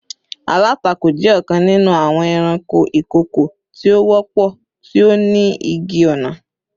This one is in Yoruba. Alatako jẹ ọkan ninu awọn ẹranko ikoko ti o wọpọ, ti o ni igi-ọna.